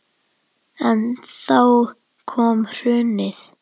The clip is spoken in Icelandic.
En þá kom hrunið.